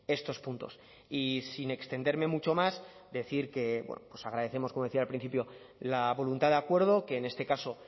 estos puntos y sin extenderme mucho más decir que bueno pues agradecemos como decía al principio la voluntad de acuerdo que en este caso